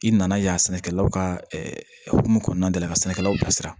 I nana yan sɛnɛkɛlaw ka hokumu kɔnɔna de la ka sɛnɛkɛlaw bisi